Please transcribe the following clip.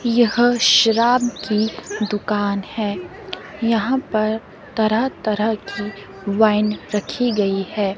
यहां शराब की दुकान है यहां पर तरह तरह की वाइन रखी गई है।